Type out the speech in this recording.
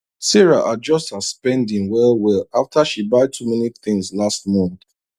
sarah adjust her spending well well after she buy too many things last month